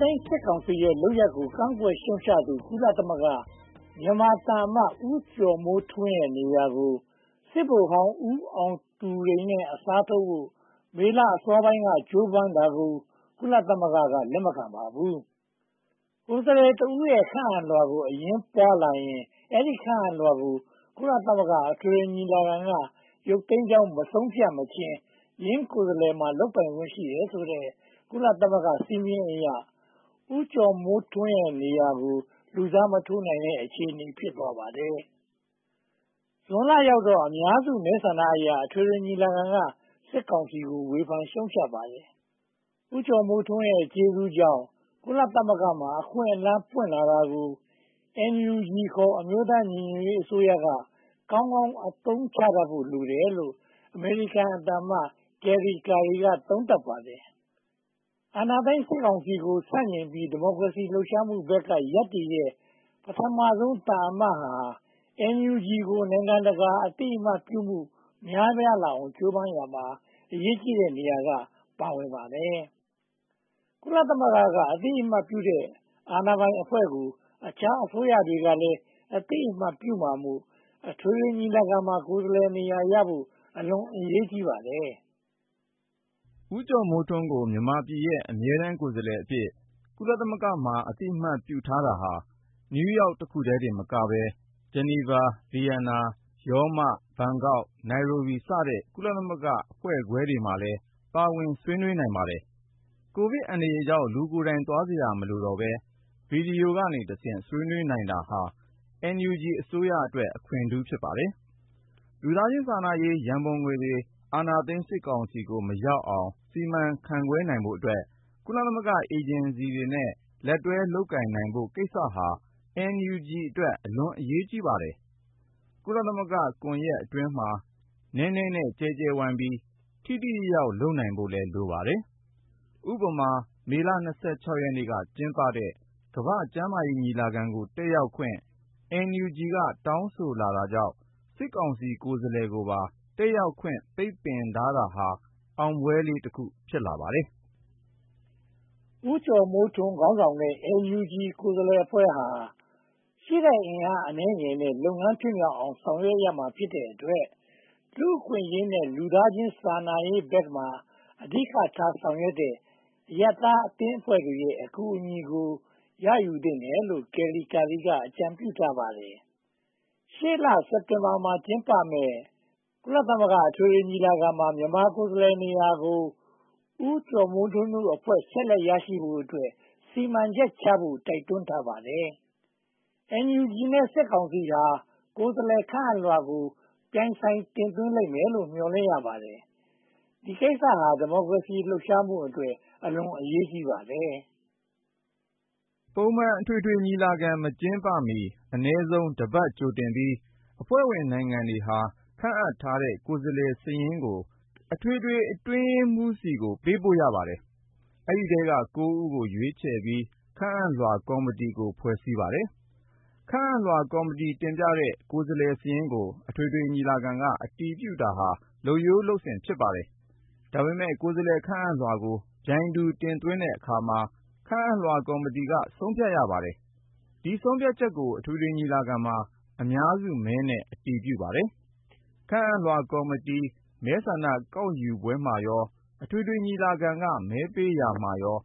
သိမ်းစစ်ကောင်စီရဲ့ လုပ်ရပ်ကို ကန့်ကွက်ရှုတ်ချသူ ကုလသမဂ္ဂ မြန်မာသံအမတ် ဦးကျော်မိုးထွန်းရဲ့နေရာကို စစ်ဗိုလ်ဟောင်း ဦးအောင်သူရိန်နဲ့ အစားထိုးဖို့ မေလအစောပိုင်းက ကြိုးပမ်းတာကို ကုလသမဂ္ဂက လက်မခံပါဘူး။ ကိုယ်စားလှယ်တဦးရဲ့ ခန့်အပ်လွှာကို အငြင်းပွားလာရင် အဲဒီခန့်အပ်လွှာကို ကုလသမဂ္ဂ အထွေထွေညီလာခံက ရုတ်သိမ်းကြောင်း မဆုံးဖြတ်မချင်း ယင်းကိုယ်စားလှယ်မှာ လုပ်ပိုင်ခွင့် ရှိတယ်ဆိုတဲ့ ကုလသမဂ္ဂစည်းမျဉ်းအရ ဦးကျော်မိုးထွန်းနေရာကို လူစားမထိုးနိုင်တဲ့ အခြေအနေ ဖြစ်သွားပါတယ်။ ဇွန်လရောက်တော့ အများစုမဲ့ဆန္ဒအရ အထွေထွေညီလာခံက စစ်ကောင်စီကို ဝေဖန်ရှုတ်ချပါတယ်။ ဦးကျော်မိုးထွန်း ကျေးဇူးကြောင့် ကုလသမဂ္ဂမှာ အခွင့်အလမ်းပွင့်လာတာကို NUG ခေါ် အမျိုးသားညီညွှတ်ရေးအစိုးရက ကောင်းကောင်းအသုံးချတတ်ဖို့ လိုတယ်လို့ အမေရိကန်သံအမတ် Kelly Currie က သုံးသပ်ပါတယ်။ အာဏာသိမ်းစစ်ကောင်စီကို ဆန့်ကျင်ပြီး ဒီမိုကရေစီ လှုပ်ရှားမှုဘက်က ရပ်တည်တဲ့ ပထမဦးဆုံး သံတမန်ဟာ NUG ကို နိုင်ငံတကာ အသိအမှတ်ပြုမှု များပြားလာအောင် ကြိုးပမ်းရာမှာ အရေးကြီးတဲ့နေရာက ပါဝင်ပါတယ်။ ကုလသမဂ္ဂက အသိအမှတ်ပြုတဲ့ အာဏာပိုင်အဖွဲ့ကို အခြားအစိုးရတွေကလည်း အသိအမှတ်ပြုမှာမို့ အထွေထွေညီလာခံမှာ ကိုယ်စားလှယ်နေရာရဖို့ အလွန်အရေးကြီးပါတယ်။ ဦးကျော်မိုးထွန်းကို မြန်မာပြည်ရဲ့ အမြဲတမ်းကိုယ်စားလှယ်အဖြစ် ကုလသမဂ္ဂမှာ အသိအမှတ်ပြုထားတာဟာ New York တင်မကပဲ၊ Geneva, Vienna, Rome, Bangkok, Nairobi စတဲ့ ကုလသမဂ္ဂအဖွဲ့ခွဲတွေလည်းမှာလည်း ပါဝင်ဆွေးနွေးနိုင်ပါတယ်။ ကိုဗစ်အန္တရာယ်ကြောင့် လူကိုယ်တိုင် သွားစရာမလိုတော့ပဲ ဗီဒီယိုကနေ ဆွေးနွေးနိုင်တာဟာ NUG အစိုးရအတွက် အခွင့်ထူး ဖြစ်ပါတယ်။ လူသားချင်းစာနာရေး ရန်ပုံငွေတွေ အာဏာသိမ်းစစ်ကောင်စီကို မရောက်အောင် စီမံခန့်ခွဲနိုင်ဖို့အတွက် ကုလသမဂ္ဂ အေဂျင်စီတွေနဲ့ လက်တွဲလုပ်ကိုင်နိုင်ဖို့ကိစ္စဟာ NUG အတွက် အလွန်အရေးကြီးပါတယ်။ ကုလသမဂ္ဂကွန်ရက်အတွင်းမှာ နည်းနည်းနဲ့ကျဲကျဲဝိုင်းပြီး ထိထိရောက်ရောက် လုပ်ကိုင်နိုင်ဖို့ လိုပါတယ်။ ဥပမာ မေလ ရက်နေ့က ကျင်းပတဲ့ ကမ္ဘာ့ကျန်းမာရေးညီလာခံကို တက်ရောက်ခွင့် NUG က တောင်းဆိုလာတာကြောင့် စစ်ကောင်စီကိုယ်စားလှယ်ကိုပါ တက်ရောက်ခွင့် ပိတ်ပင်တာမျိုးဟာ အောင်ပွဲလေးတခု ဖြစ်ပါတယ်။ ဦးကျော်မိုးထွန်းခေါင်းဆောင်တဲ့ NUG ကိုယ်စားလှယ်အဖွဲ့ဟာ ရှိတဲ့အင်အားအနည်းငယ်နဲ့ လုပ်ငန်းဖြစ်မြောက်အောင် ဆောင်ရွက်ရမှာဖြစ်တဲ့အတွက် လူ့အခွင့်အရေးနဲ့ လူသားချင်းစာနာရေးဘက်မှာ အဓိကထားဆောင်ရွက်နေတဲ့ အရပ်သားအသင်းအဖွဲ့တွေရဲ့ အကူအညီကို ရယူသင့်တယ်လို့ Kelly Currie က အကြံပြုထားပါတယ်။ ရှေ့လ စက်တင်ဘာလမှာ စတင်ကျင်းပမယ့် ကုလသမဂ္ဂ အထွေထွေညီလာခံမှာ မြန်မာကိုယ်စားလှယ်နေရာကို ဦးကျော်မိုးထွန်းတို့အဖွဲ့ ဆက်လက်ရရှိဖို့အတွက် စီမံချက်ချဖို့ တိုက်တွန်းထားပါတယ်။ NUG နဲ့ စစ်ကောင်စီဟာ ကိုယ်စားလှယ် ခန့်အပ်လွှာကို ပြိုင်ဆိုင်တင်သွင်းလိမ့်မယ်လို့ မျှော်လင့်ရပါတယ်။ ဒီကိစ္စ ဒီမိုကရေစီလှုပ်ရှားမှုအတွက် အလွန်အရေးကြီးပါတယ်။ ပုံမှန်အထွေထွေညီလာခံ မကျင်းပမီ အနည်းဆုံး တပတ်ကြိုတင်ပြီး အဖွဲ့ဝင်နိုင်ငံတွေဟာ ခန့်အပ်ထားတဲ့ ကိုယ်စားလှယ်စာရင်းကို အထွေထွေအတွင်းရေးမှူးဆီကို ပေးပို့ရပါတယ်။ ဒီအထဲက ဦးကို ရွေးချယ်ပြီး ခန့်အပ်လွှာကော်မတီကို ဖွဲ့စည်းပါတယ်။ ခန့်အပ်လွှာကော်မတီ တင်ပြတဲ့ ကိုယ်စားလှယ်စာရင်းကို အထွေထွေညီလာခံက အတည်ပြုတာဟာ လုပ်ရိုးလုပ်စဉ် ဖြစ်ပါတယ်။ ဒါပေမဲ့ ကိုယ်စားလှယ် ခန့်အပ်လွှာကို ပြိုင်ဆိုင်တင်သွင်းတဲ့အခါမှာ ခန့်အပ်လွှာကော်မတီက ဆုံးဖြတ်ရပါတယ်။ ဒီဆုံးဖြတ်ချက်ကို အထွေထွေညီလာခံမှာ အများစုမဲနဲ့ အတည်ပြုပါတယ်။ ခန့်အပ်လွှာကော်မတီ မဲဆန္ဒကောက်ယူပွဲမှာရော အထွေထွေညီလာခံက မဲပေးရာမှာရော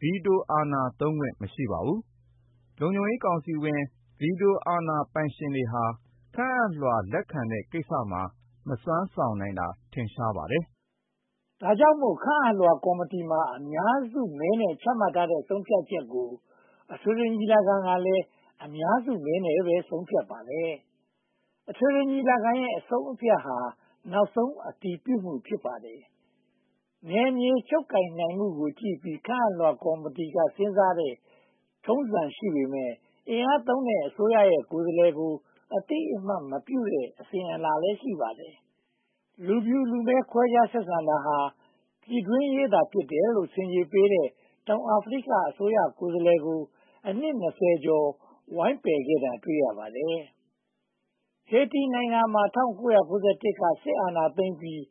ဗီတိုအာဏာသုံးခွင့် မရှိပါဘူး။ လုံခြုံရေးကောင်စီဝင် ဗီတိုအာဏာသုံးခွင့် မရှိပါဘူး။ လုံခြုံရေးကောင်စီဝင် ဗီတိုအာဏာပိုင်ရှင်တွေဟာ ခန့်အပ်လွှာ လက်ခံတဲ့ကိစ္စမှာ မစွမ်းဆောင်နိုင်တာ ထင်ရှားပါတယ်။ ဒါကြောင့်မို့ ခန့်အပ်လွှာကော်မတီမှာ အများစုမဲနဲ့ ချမှတ်ထားတဲ့ ဆုံးဖြတ်ချက်ကို အထွေထွေညီလာခံကလည်း အများစုမဲနဲ့ ဆုံးဖြတ်ထားပါတယ်။ အထွေထွေညီလာခံရဲ့ အဆုံးအဖြတ်ဟာ နောက်ဆုံးအတည်ပြုမှု ဖြစ်ပါတယ်။ နယ်မြေချုပ်ကိုင်မှုကိုကြည့်ပြီး ခန့်အပ်လွှာကော်မတီက စဉ်းစားတဲ့ ထုံးစံရှိပေမယ့် အင်အားသုံးတဲ့ အစိုးရရဲ့ ကိုယ်စားလှယ်ကို အသိအမှတ်မပြုတဲ့ အစဉ်အလာလည်း ရှိပါတယ်။ လူဖြူလူမည်း ခွဲခြားဆက်ဆံတာဟာ ပြည်တွင်းရေးသာ ဖြစ်တယ်လို့ ဆင်ခြေပေးတဲ့ တောင်အာဖရိက အစိုးရကိုယ်စားလှယ်ကို အနှစ် ကျော် ဝိုင်းပယ်ခဲ့တာ တွေ့ရပါတယ်။ ဟေတီ နိုင်ငံမှာ ၁၉၉၁ က စစ်အာဏာသိမ်းပြီး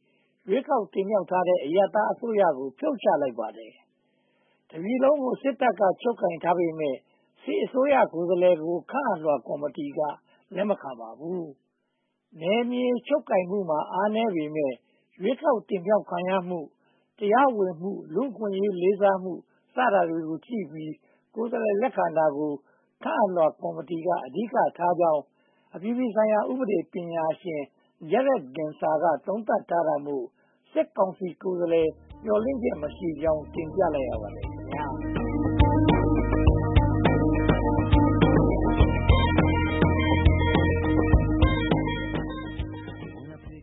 ရွေးကောက်တင်မြှောက်ထားတဲ့ အရပ်သားအစိုးရကို ဖြုတ်ချလိုက်ပါတယ်။ တပြည်လုံးကို စစ်တပ်က ချုပ်ကိုင်ထားပေမယ့် စစ်အစိုးရ ကိုယ်စားလှယ်ကို ခန့်အပ်လွှာကော်မတီက လက်မခံပါဘူး။ နယ်မြေချုပ်ကိုင်မှုမှာ အားနည်းပေမယ့် ရွေးကောက်တင်မြှောက်ခံရမှု၊ တရားဝင်မှု၊ လူ့အခွင့်အရေးလေးစားမှု စတာတွေကိုကြည့်ပြီး ကိုယ်စားလှယ်လက်ခံတာကို ခန့်အပ်လွှာကော်မတီက အဓိကထားကြောင်း အပြည်ပြည်ဆိုင်ရာ ဥပဒေပညာရှင် Jared Genser က သုံးသပ်ထားတာမို့ စစ်ကောင်စီကိုယ်စားလှယ် မျှော်လင့်ချက်မရှိကြောင်း တင်ပြလိုက်ပါတယ်။